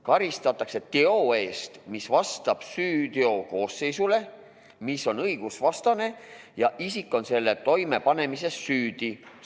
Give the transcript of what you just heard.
Karistatakse teo eest, mis vastab süüteokoosseisule, mis on õigusvastane ja mille toimepanemises on isik süüdi.